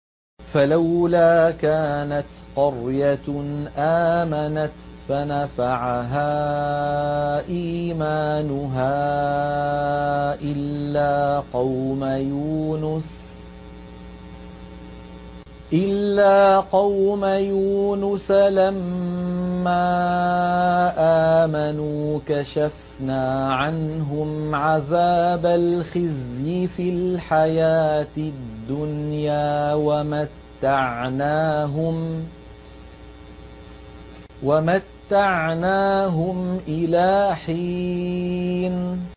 فَلَوْلَا كَانَتْ قَرْيَةٌ آمَنَتْ فَنَفَعَهَا إِيمَانُهَا إِلَّا قَوْمَ يُونُسَ لَمَّا آمَنُوا كَشَفْنَا عَنْهُمْ عَذَابَ الْخِزْيِ فِي الْحَيَاةِ الدُّنْيَا وَمَتَّعْنَاهُمْ إِلَىٰ حِينٍ